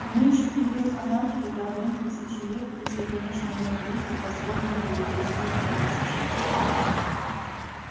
уменьшить период анархии до одной тысячи лет если конечно моей группе позволено будет действовать прямо сейчас